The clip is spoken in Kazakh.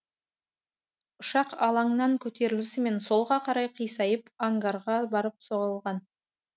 ұшақ алаңнан көтерілісімен солға қарай қисайып ангарға барып соғылған